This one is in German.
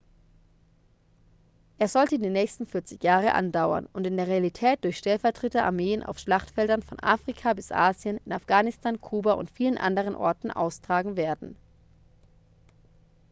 er sollte die nächsten 40 jahre andauern und in der realität durch stellvertreter-armeen auf schlachtfeldern von afrika bis asien in afghanistan kuba und vielen anderen orten austragen werden